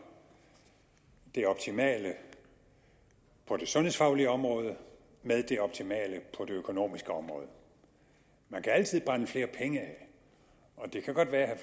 det optimale på det sundhedsfaglige område med det optimale på det økonomiske område man kan altid brænde flere penge af og det kan godt være at